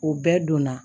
O bɛɛ donna